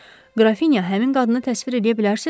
Qrafinya, həmin qadını təsvir eləyə bilərsizmi?